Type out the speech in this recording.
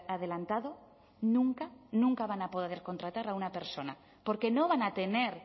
adelantado nunca nunca van a poder contratar a una persona porque no van a tener